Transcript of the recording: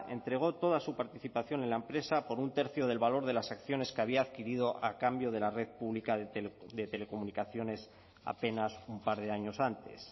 entregó toda su participación en la empresa por un tercio del valor de las acciones que había adquirido a cambio de la red pública de telecomunicaciones apenas un par de años antes